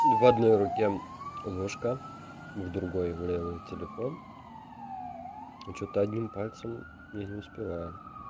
в одной руке ложка в другой в левой телефон что-то одним пальцем я не успеваю